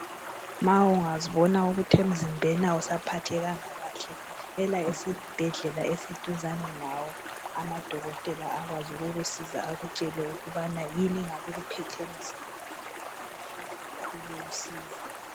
Nxa ungazibona ukuthi emzimbeni awusaphathekanga kuhle, vakatshela esibhedlela esiseduze lawe. Amadokotela akwazi akukusiza akutshele ukubana yini engabe ikuphethe emzimbeni.